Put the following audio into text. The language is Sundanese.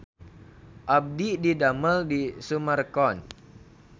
Abdi didamel di Summarecon